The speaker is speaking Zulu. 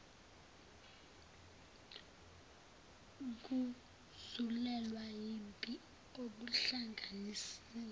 kuzulelwa yimpi okuhlanganisa